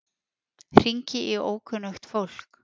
Hringi í ókunnugt fólk.